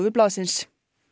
blaðsins